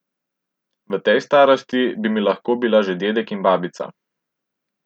V tej starosti bi mi lahko bila že dedek in babica.